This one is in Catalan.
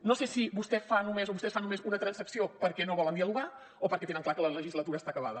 no sé si vostè fa només o vostès fan només una transacció perquè no volen dialogar o perquè tenen clar que la legislatura està acabada